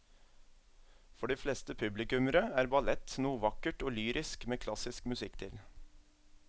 For de fleste publikummere er ballett noe vakkert og lyrisk med klassisk musikk til.